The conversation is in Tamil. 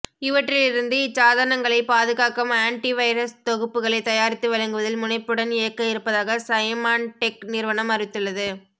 இவற்றிலிருந்து இச்சாதனங்களைப் பாதுகாக்கும் ஆண்ட்டி வைரஸ் தொகுப்புகளைத் தயாரித்து வழங்குவதில் முனைப்புடன் இயக்க இருப்பதாக சைமாண்டெக் நிறுவனம் அறிவித்துள்ளது